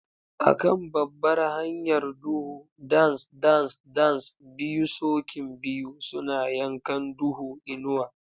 A kan babbar hanyar duhu, dance dance dance, biyu sokin biyu suna yankan duhu, inuwa.